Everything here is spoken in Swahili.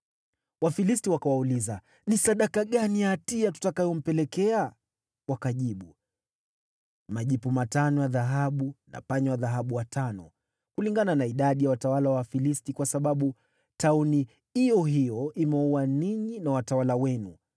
Wafilisti wakawauliza, “Ni sadaka gani ya hatia tutakayompelekea?” Wakajibu, “Majipu matano ya dhahabu na panya wa dhahabu watano, kulingana na idadi ya watawala wa Wafilisti, kwa sababu tauni iyo hiyo imewaua ninyi na watawala wenu.